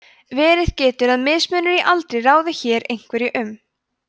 verið getur að mismunur í aldri ráði hér einhverju um